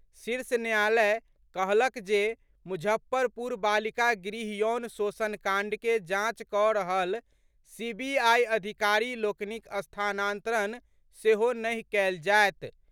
शीर्ष न्यायालय कहलक जे मुजफ्फरपुर बालिका गृह यौन शोषण कांड के जांच कऽ रहल सीबीआई अधिकारी लोकनिक स्थानांतरण सेहो नहि कयल जायत।